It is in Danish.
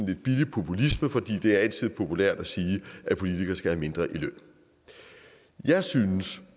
lidt billig populisme fordi det altid er populært at sige at politikere skal have mindre i løn jeg synes